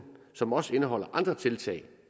som også indeholder andre tiltag